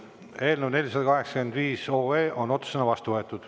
Eelnõu 485 on otsusena vastu võetud.